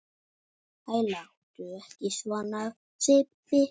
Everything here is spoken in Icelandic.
Æ, láttu ekki svona Sibbi